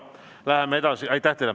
Aitäh teile!